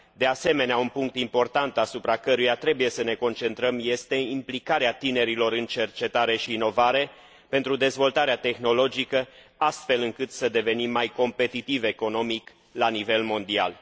De asemenea, un punct important, asupra căruia trebuie să ne concentrăm, este implicarea tinerilor în cercetare și inovare pentru dezvoltarea tehnologică, astfel încât să devenim mai competitivi economic la nivel mondial.